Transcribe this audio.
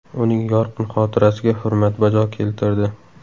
Uning yorqin xotirasiga hurmat bajo keltirdi.